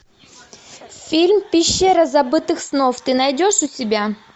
фильм пещера забытых снов ты найдешь у себя